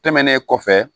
Tɛmɛnen kɔfɛ